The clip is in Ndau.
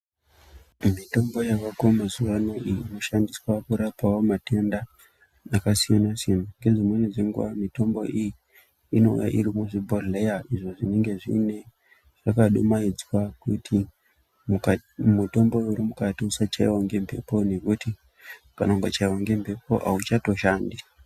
Mitombo yaako mazuwano iyi inoshandiswawo kurapa matenda akasiyana siyana. Ngedzimweni dzenguwa mitombo iyi inouya iri muzvibhodhleya izvo zvinenge zvakadumaidzwa kuite mutombo uri mukati usachiyiwa ngemphepo ngekuti kana ukachaiwa ngomphepo auchatoshandi.